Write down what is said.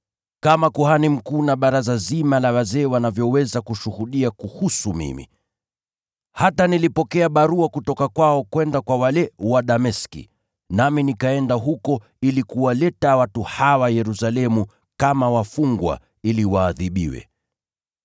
kama kuhani mkuu na baraza zima la wazee wanavyoweza kushuhudia kunihusu. Hata nilipokea barua kutoka kwao kwenda kwa ndugu wale wa Dameski, nami nikaenda huko ili kuwaleta watu hawa Yerusalemu kama wafungwa ili waadhibiwe.